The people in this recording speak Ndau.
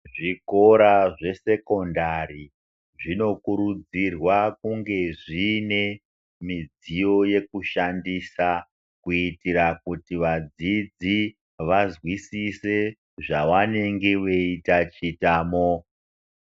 Zvikora zvesekhondari, zvinokurudzirwa kunge zvinemidziyo yekushandisa kuitira kuti vadzidzi vazvisise zvavanenge veyichitachamo.